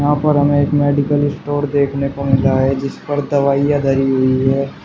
यहां पर हमें एक मेडिकल स्टोर देखने को मिल रहा है जिस पर दवाइयां धरी हुई है।